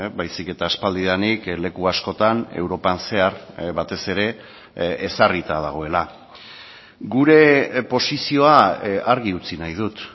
baizik eta aspaldidanik leku askotan europan zehar batez ere ezarrita dagoela gure posizioa argi utzi nahi dut